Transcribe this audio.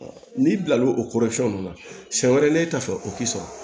N'i bila l'o o kɔrɔ fɛn nunnu na siyɛn wɛrɛ n'e ta fɛ o tɛ sɔrɔ